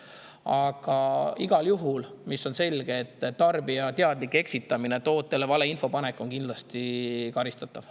Aga igal juhul on selge, et tarbija teadlik eksitamine, tootele valeinfo panek on kindlasti karistatav.